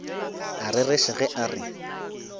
a rereša ge a re